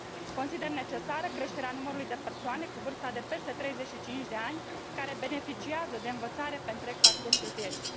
Consider necesară creșterea numărului de persoane cu vârsta peste 35 de ani care beneficiază de învățare pe întreg parcursul vieții.